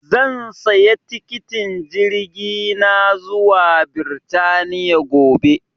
zan saya tikitin jirgi na zuwa birtaniya gobe